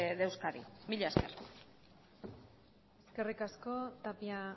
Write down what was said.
de euskadi mila esker eskerrik asko tapia